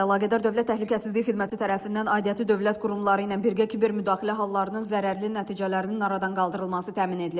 Faktla əlaqədar Dövlət Təhlükəsizliyi Xidməti tərəfindən aidiyyatı dövlət qurumları ilə birgə kiber müdaxilə hallarının zərərli nəticələrinin aradan qaldırılması təmin edilib.